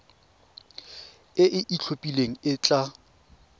e e itlhophileng e tla